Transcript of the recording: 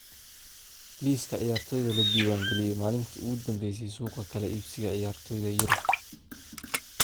Liiska ciyaartoyda la diiwaan galiyay maalintii ugu dambeysay suuqa kala iibsiga ciyaartoyda Yurub